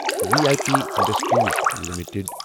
V I P industries limited